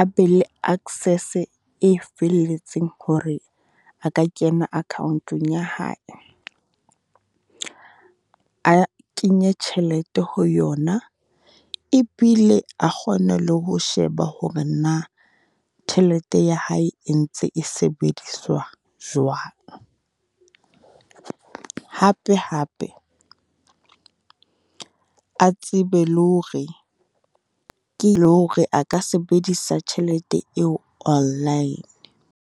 a be le access-e e felletseng hore a ka kena accoun-ong ya hae. A kenye tjhelete ho yona e bile a kgone le ho sheba hore na, tjhelete ya hae e ntse e sebediswa jwang. Hape hape, a tsebe le hore ke le hore a ka sebedisa tjhelete eo online.